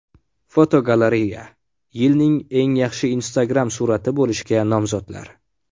Fotogalereya: Yilning eng yaxshi Instagram surati bo‘lishga nomzodlar.